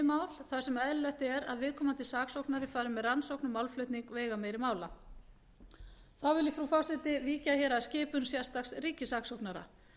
mál þar sem eðlilegt er að viðkomandi saksóknari fari með rannsókn og málflutning veigameiri mála þá vil ég frú forseti víkja að skipun sérstaks ríkissaksóknara